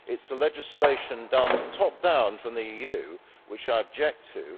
It is the legislation, done top down from the EU, which I object to.